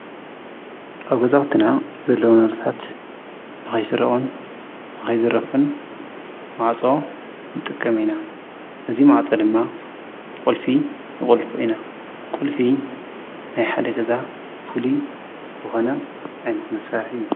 ኣብ ገዛዉትና ዘለዉና ንብረታት ንከይስረቁን ንከይዝረፉን ማዕጾ ንጥቀም ኢና፤ እዚ ማዕጾ ድማ ብቁልፊ ንቁልፎ ኢና ፤ቁልፊ ናይ ሓደ ገዛ ፉሊይ ዝኾነ ዓይነት መሳርሒ እዩ።